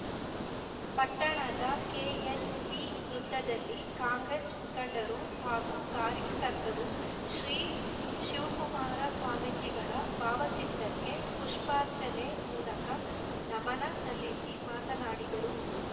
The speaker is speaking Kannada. ಪಟ್ಟಣದ ಕೆಎಲ್‌ವಿ ವೃತ್ತದಲ್ಲಿ ಕಾಂಗ್ರೆಸ್‌ ಮುಖಂಡರು ಹಾಗೂ ಕಾರ್ಯಕರ್ತರು ಶ್ರೀ ಶಿವಕುಮಾರ ಸ್ವಾಮೀಜಿಗಳ ಭಾವಚಿತ್ರಕ್ಕೆ ಪುಷ್ಪಾರ್ಚನೆ ಮೂಲಕ ನಮನ ಸಲ್ಲಿಸಿ ಮಾತನಾಡಿದರು